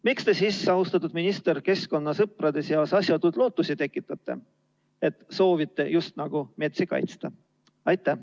Miks te siis, austatud minister, keskkonnasõprade seas asjatuid lootusi tekitate, et te soovite just nagu metsi kaitsta?